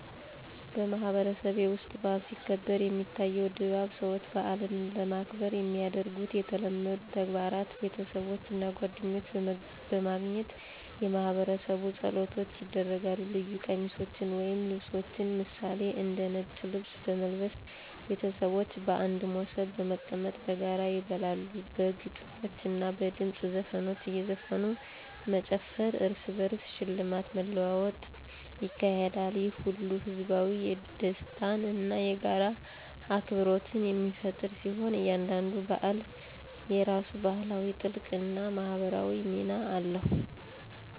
በማህበረሰቤ ውስጥ በዓል ሲከበር፣ የሚታየው ድባብ ሰዎች በዓልን ለማክበር የሚያደርጉት የተለመዱ ተግባራት ቤተሰቦች እና ጓደኞች በማግኘት የማህበረሰብ ጸሎቶች ይደረጋል ልዩ ቀሚሶችን ወይም ልብሶችን ምሳሌ፦ እንደ ነጭ ልብስ በመልበስ ቤተሰቦች በአንድ ሞሰብ በመቀመጥ በጋራ ይበላሉ በግጥሞች እና በድምፅ ዘፈኖች እዘፈኑ መጨፈር እርስ በርስ ሽልማት መለዋወጥ ይካሄዳል። ይህ ሁሉ ህዝባዊ ደስታን እና የጋራ አክብሮትን የሚፈጥር ሲሆን፣ እያንዳንዱ በዓል የራሱ ባህላዊ ጥልቀት እና ማህበራዊ ሚና አለው።